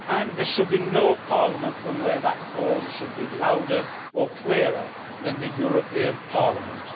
There should be no parliament from where that call should be louder or clearer than the European Parliament.